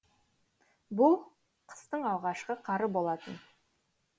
бұл қыстың алғашқы қары болатын